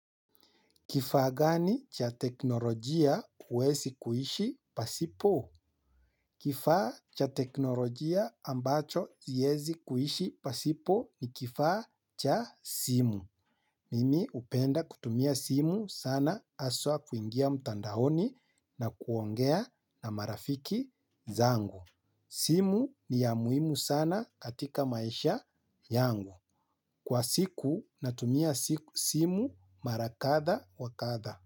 Kifaa gani cha teknolojia huwezi kuishi pasipo? Kifaa cha teknolojia ambacho siezi kuishi pasipo ni kifaa cha simu. Mimi upenda kutumia simu sana haswa kuingia mtandaoni na kuongea na marafiki zangu. Simu ni ya muhimu sana katika maisha yangu. Kwa siku natumia simu marakatha wakatha.